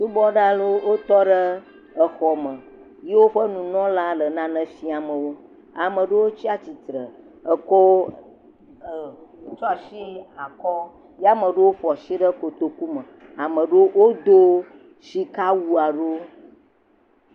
Subɔla aɖewo tɔ ɖe exɔ me. Yiwo ƒe nunɔla le nane fiam wo. Ame aɖewo tsi atsitre eko e tsɔ asi akɔ. Ye ame aɖewo ƒo asi ɖe kotokume. Ame aɖe wodo sikawu aɖewo.